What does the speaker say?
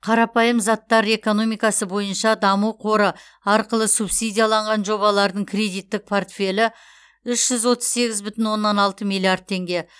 қарапайым заттар экономикасы бойынша даму қоры арқылы субсидияланған жобалардың кредиттік портфелі үш жүз отыз сегіз мың оннан алты миллиард теңге